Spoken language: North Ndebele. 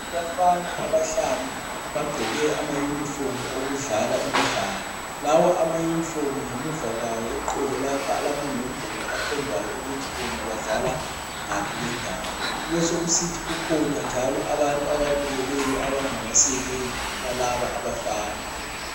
Abafana abahlanu abagqoke ama yunifomu okudlala Imidlalo lawa amayunifomu ngemuva kwawo eqolo lapha alamanombolo akhomba ukuthi bona badlala ngaphi kwendawo, kubesokusithi ukhona njalo abantu ababukeleyo abangabasekeli balaba abafana.